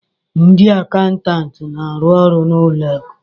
Ndị akaụntantị na-arụ ọrụ na ụlọ akụ